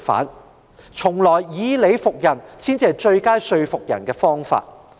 一直以來，以理服人才是說服別人的最佳方法。